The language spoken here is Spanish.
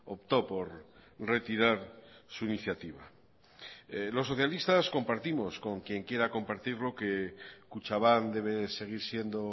optó por retirar su iniciativa los socialistas compartimos con quien quiera compartirlo que kutxabank debe seguir siendo